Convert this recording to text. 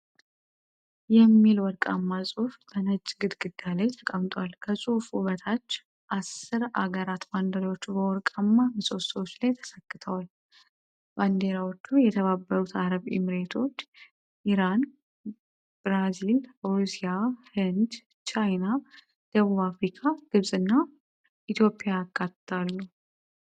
"BRICS" የሚል ወርቃማ ጽሑፍ በነጭ ግድግዳ ላይ ተቀምጧል። ከጽሑፉ በታች አስር አገራት ባንዲራዎች በወርቃማ ምሰሶዎች ላይ ተሰክተዋል። ባንዲራዎቹ የተባበሩት አረብ ኤሚሬቶች፣ ኢራን፣ ብራዚል፣ ሩሲያ፣ ህንድ፣ ቻይና፣ ደቡብ አፍሪካ፣ ግብጽና ኢትዮጵያ ያካትታሉ።